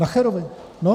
Nacherovi, no.